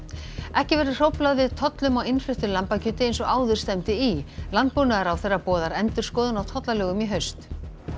ekki verður hróflað við tollum á innfluttu lambakjöti eins og áður stefndi í landbúnaðarráðherra boðar endurskoðun á tollalögum í haust